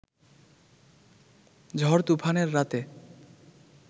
ঝড়-তুফানের রাতে